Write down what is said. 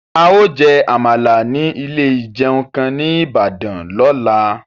A ó jẹ́ Àmàlà ní ilé ìjẹun kan ní Ìbàdàn lọ́la